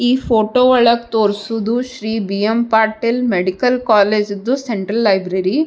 ಈ ಫೋಟೊ ಒಳಗ್ ತೋರ್ಸುವುದು ಶ್ರೀ ಬಿ.ಎಮ್. ಪಾಟೀಲ್ ಮೆಡಿಕಲ್ ಕಾಲೇಜಿದ್ದು ಸೆಂಟ್ರಲ್ ಲೈಬ್ರೆರಿ .